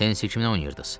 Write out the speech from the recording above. Tennisi kiminlə oynayırdız?